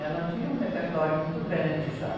Ela tinha um repertório muito grande já.